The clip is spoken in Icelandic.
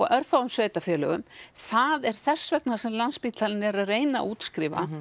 örfáum sveitarfélögum það er þess vegna sem Landspítalinn er að reyna að útskrifa